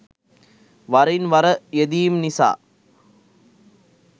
වරින් වර යෙදීම් නිසා